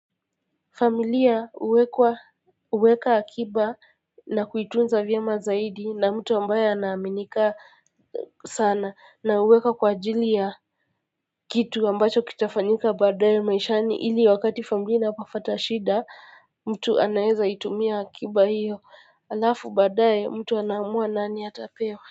Familia huwekwa huweka akiba na kuitunza vyema zaidi na mtu ambaye ana aminika sana na huweka kwa ajili ya kitu ambacho kitafanyika baadaye maishani ili wakati familia inapopata shida mtu anaeza itumia akiba hiyo alafu baadaye mtu ana amua nani atapewa.